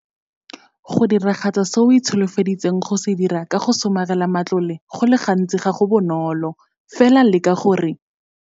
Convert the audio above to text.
Go diragatsa se o itsholofeditseng go se dira ka go somarela matlole go le gantsi ga go bonolo, fela leka gore.